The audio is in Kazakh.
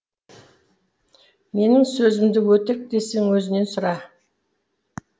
менің сөзімді өтірік десең өзінен сұра